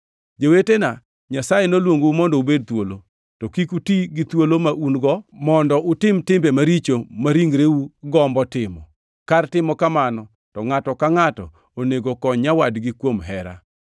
Jowetena, Nyasaye noluongou mondo ubed thuolo. To kik uti gi thuolo ma un-go mondo utim timbe maricho ma ringreu gombo timo. Kar timo kamano, to ngʼato ka ngʼato onego kony nyawadgi kuom hera.